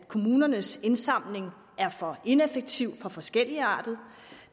kommunernes indsamling der er for ineffektiv for forskelligartet og